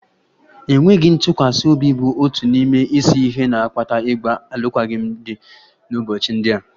Enweghị ntụkwasị obi bụ otu n'ime isi ihe na-akpata ịgba alụkwaghịm n'ụbọchị ndị a